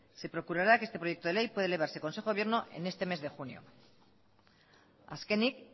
se procurará que este proyecto de ley pueda elevarse a consejo de gobierno en este mes de junio azkenik